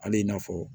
Hali i n'a fɔ